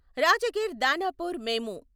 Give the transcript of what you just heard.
రాజగిర్ దానాపూర్ మేము